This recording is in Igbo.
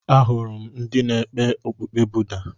Ahụrụ m ndị na-ekpe okpukpe Buda.